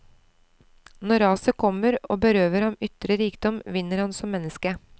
Når raset kommer og berøver ham ytre rikdom, vinner han som menneske.